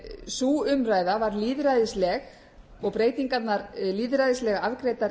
sú umræða var lýðræðisleg og breytingarnar lýðræðislega afgreiddar